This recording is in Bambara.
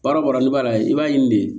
Baara o baara n'i b'a la i b'a ɲini de